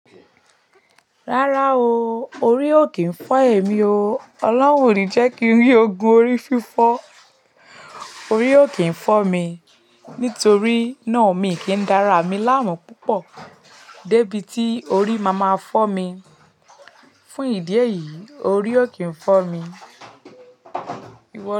Rárá o, orí ò kíi fọ́ èmi o. Ọlọ́hun ò ní jẹ́ kí n rí ogun orí fífọ́. Orí ò kíi fọ́ mi. Nítorí náà mi kì í dára mi láàmú púpọ̀ débí tí orí máa ma fọ́ mi. Fún ìdí èyí, orí ò kín fọ́ mi.